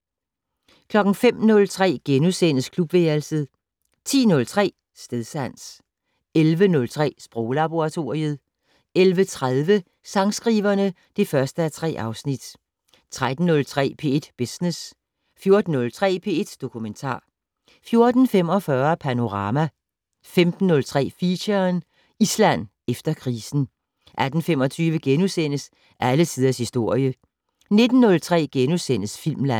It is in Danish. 05:03: Klubværelset * 10:03: Stedsans 11:03: Sproglaboratoriet 11:30: Sangskriverne (1:3) 13:03: P1 Business 14:03: P1 Dokumentar 14:45: Panorama 15:03: Feature: Island efter krisen 18:25: Alle tiders historie * 19:03: Filmland *